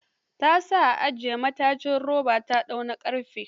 Ta sa ajiye matajin roba ta ɗaauki na ƙarfe.